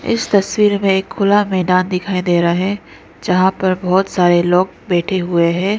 इस तस्वीर में एक खुला मैदान दिखाई दे रहा है जहां पे बहोत सारे लोग बैठे हुए हैं।